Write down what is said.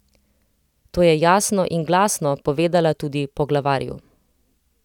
To je jasno in glasno povedala tudi poglavarju.